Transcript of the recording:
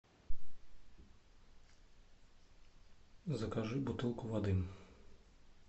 закажи бутылку воды